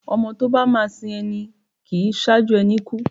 ọmọ tọ ba ma sín ení, kín saju ení kú